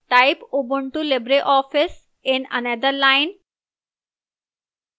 type ubuntu libreoffice in another line